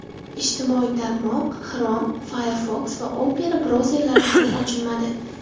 Ijtimoiy tarmoq Chrome, Firefox va Opera brauzerlarida ham ochilmadi.